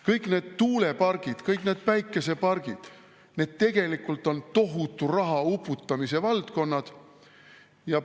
Kõik need tuulepargid ja kõik need päikesepargid on tegelikult tohutu raha uputamise valdkond.